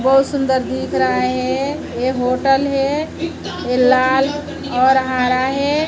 बहुत सुंदर दिख रहा है ये होटल है ये लाल और हरा है।